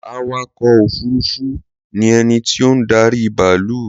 Awakọ̀ òfurufú ni ẹni tí ó ń darí bàálù